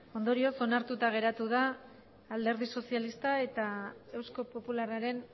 ondorioz onartuta geratu da alderdi sozialistaren eta eusko popularraren